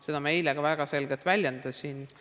Seda ma eile ka väga selgelt väljendasin.